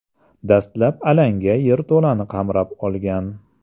Dastlab alanga yerto‘lani qamrab olgan.